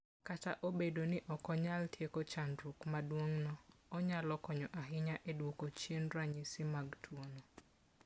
Kata obedo ni ok onyal tieko chandruok maduong'no, onyalo konyo ahinya e duoko chien ranyisi mag tuwono.